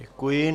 Děkuji.